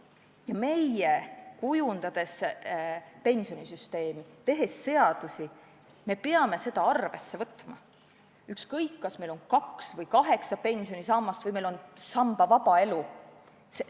Ja meie, kujundades pensionisüsteemi, tehes seadusi, peame seda arvesse võtma, ükskõik kas meil on kaks või kaheksa pensionisammast või sambavaba elu.